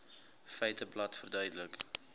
feiteblad verduidelik